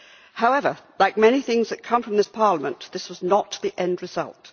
However, like many things that come from this Parliament, this was not the end result.